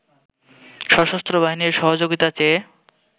সশস্ত্র বাহিনীর সহযোগিতা চেয়ে